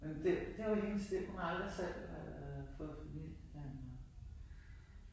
Men det det var hendes liv. Hun havde aldrig selv øh fået familie eller